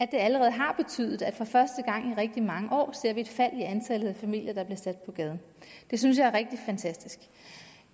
allerede har betydet at for første gang i rigtig mange år ser vi et fald i antallet af familier der bliver sat på gaden det synes jeg er rigtig fantastisk